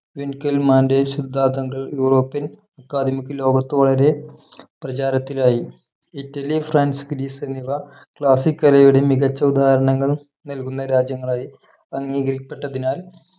വിൻകെൽമാന്റെ സിദ്ധാന്തങ്ങൾ European academy ക് ലോകത്ത് വളരെ പ്രചാരത്തിലായി ഇറ്റലി ഫ്രാൻസ് ഗ്രീസ് എന്നിവ classic കലയുടെ മികച്ച ഉദാഹരണങ്ങൾ നൽകുന്നരാജ്യങ്ങളായി അംഗീകരിക്കപ്പെട്ടതിനാൽ